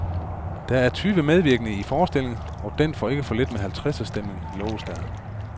Der er tyve medvirkende i forestillingen, og den får ikke for lidt med halvtredserstemning, loves der.